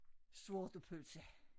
Sortepølse